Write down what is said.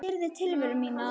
Ég syrgði tilveru mína.